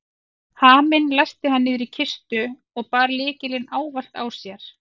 Haminn læsti hann niður í kistu og bar lykilinn ávallt á sér.